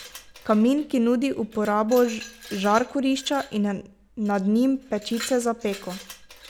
Kamin, ki nudi uporabo žar kurišča in nad njim pečice za peko.